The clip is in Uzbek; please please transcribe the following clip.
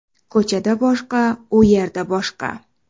Ko‘chada boshqa, u yerda boshqa.